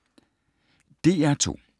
DR2